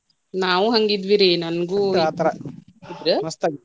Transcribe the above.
ನಾವು ಹಂಗ ಇದ್ವಿ ರೀ ನಂಗು .